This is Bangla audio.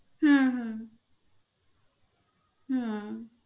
হম